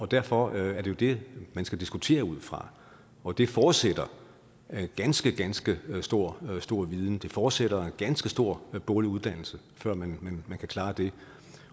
derfor er det det man skal diskutere ud fra og det forudsætter ganske ganske stor stor viden det forudsætter ganske stor boglig uddannelse før man kan klare det